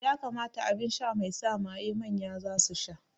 Ƴa kamata aɓinsha mai sa maye manya zasu sha.